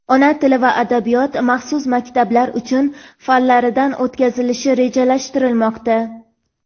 Ona tili va adabiyot (maxsus maktablar uchun) fanlaridan o‘tkazilishi rejalashtirilmoqda.